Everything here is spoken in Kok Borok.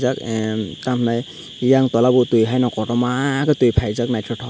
tam emm tamhinai eyang towla bai tui haino kotorma kei tui paijak naitotok.